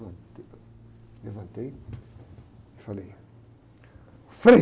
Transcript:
Levantei e falei, Frei!